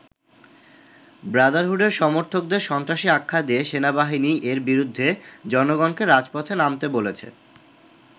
ব্রাদারহুডের সমর্থকদের সন্ত্রাসী আখ্যা দিয়ে সেনাবাহিনী এর বিরুদ্ধে জনগণকে রাজপথে নামতে বলেছে।